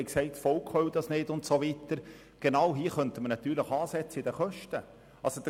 Zuvor haben wir über einen hohen Kredit gesprochen und gesagt, das Volk wolle dies nicht und so weiter.